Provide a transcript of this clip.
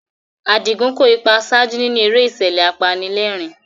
Adigun kó ipa àṣáájú nínú eré ìṣẹ̀lẹ̀ apanilẹ́rìn-ín.